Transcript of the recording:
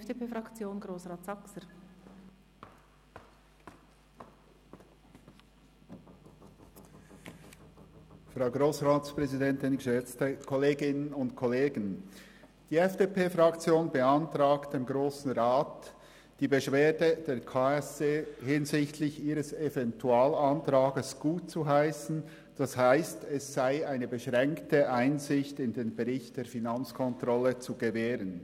Die FDP-Fraktion beantragt dem Grossen Rat, die Beschwerde des KSE Bern hinsichtlich ihres Eventualantrags gutzuheissen, das heisst, es sei eine beschränkte Einsicht in den Bericht der Finanzkontrolle zu gewähren.